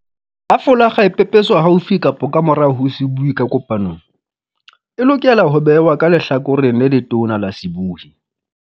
Ha folakga e pepeswa haufi kapa ka morao ho sebui ka kopanong, e lokela ho behwa ka lehlakoreng le letona la sebui.